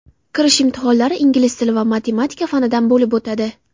Kirish imtihonlari ingliz tili va matematika fanidan bo‘lib o‘tadi.